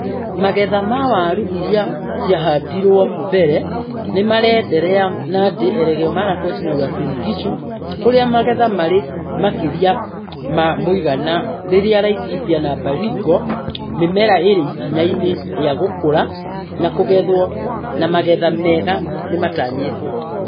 Magetha ma waru iria ciahandirwo mbere nĩmarenderea Nandi, Elgeyo Marakwet, na Uasin Gishu kũrĩa magetha marĩ makĩrĩa ma mũigana rĩrĩa Laikipia na Baringo mĩmera ĩrĩ ikinya-inĩ rĩa gũkũra na kũgethwo na magetha mega nĩmatanyĩtwo